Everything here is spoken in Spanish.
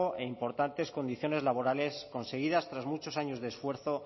e importantes condiciones laborales conseguidas tras muchos años de esfuerzo